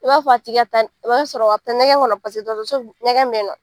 I b'a fɔ a tigi ka taa n , i b'a sɔrɔ a be taa ɲɛkɛn kɔnɔ paseke dɔgɔtɔrɔɔso ɲɛkɛn be yen nɔ.